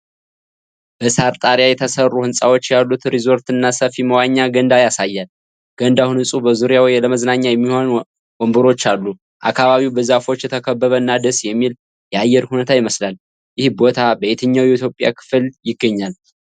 በሳር ጣሪያ የተሠሩ ህንፃዎች ያሉት ሪዞርት እና ሰፊ መዋኛ ገንዳ ያሳያል። ገንዳው ንፁህና በዙሪያው ለመዝናኛ የሚሆኑ ወንበሮች አሉ። አካባቢው በዛፎች የተከበበ እና ደስ የሚል የአየር ሁኔታ ይመስላል። ይህ ቦታ በየትኛው የኢትዮጵያ ክፍል ይገኛል?